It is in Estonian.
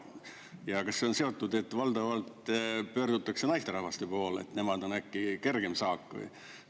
Ja kas see on seotud, et valdavalt pöördutakse naisterahvaste poole, et nemad on äkki kergem saak?